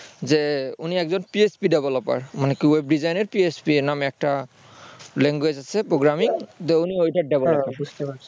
যে উনি একজন PSP developer মানে web design এ psp নামে একটা language আছে প্রোগ্রামিং তো উনি ওটার develope